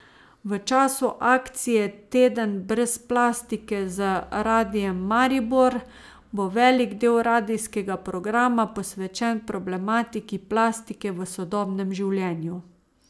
V času akcije Teden brez plastike z Radiem Maribor bo velik del radijskega programa posvečen problematiki plastike v sodobnem življenju.